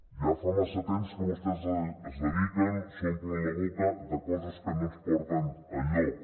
ja fa massa temps que vostès es dediquen s’omplen la boca de coses que no ens porten enlloc